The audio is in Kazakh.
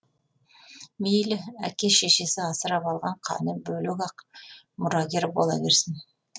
мейлі әке шешесі асырап алған қаны бөлек ақ мұрагер бола берсін